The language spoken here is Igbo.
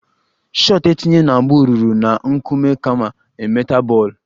Shot etinye na mbụ rụrụ na a nkume kama a metal bọl